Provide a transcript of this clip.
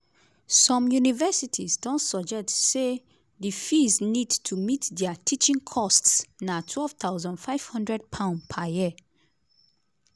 some universities don suggest say di fees need to meet dia teaching costs na £12500 per year.